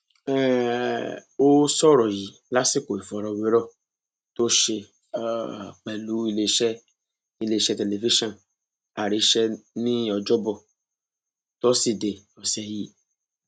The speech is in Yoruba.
um ó sọrọ yìí lásìkò ìfọrọwérọ tó ṣe um pẹlú iléeṣẹ iléeṣẹ tẹlifíṣàn àríṣẹ ní ọjọbọ tọsídẹẹ ọsẹ yìí